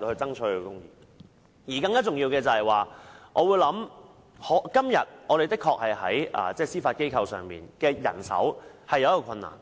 更重要的是，現時司法機構確實在人手方面遇到困難，